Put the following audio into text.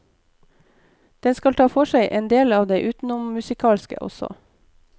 Den skal ta for seg endel av det utenommusikalske også.